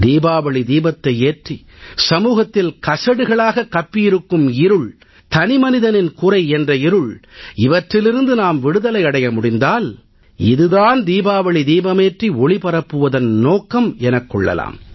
தீபாவளி தீபத்தை ஏற்றி சமூகத்தில் கசடுகளாக கப்பியிருக்கும் இருள் தனிமனிதனின் குறை என்ற இருள் இவற்றிலிருந்து நாம் விடுதலை அடைய முடிந்தால் இது தான் தீபாவளி தீபமேற்றி ஒளி பரப்புவதன் நோக்கம் எனக் கொள்ளலாம்